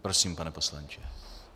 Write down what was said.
Prosím, pane poslanče.